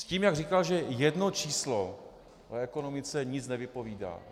S tím, jak říkal, že jedno číslo o ekonomice nic nevypovídá.